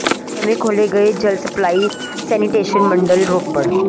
ਨਵੇਂ ਖੋਲ੍ਹੇ ਗਏ ਜਲ ਸਪਲਾਈ ਸੈਨੀਟੇਸ਼ਨ ਮੰਡਲ ਰੋਪੜ ਨੰ